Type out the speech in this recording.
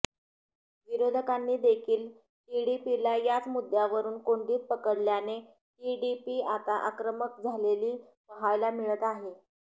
विरोधकांनी देखील टीडीपीला याच मुद्यावरून कोंडीत पकडल्याने टीडीपी आता आक्रमक झालेली पाहायाला मिळत आहे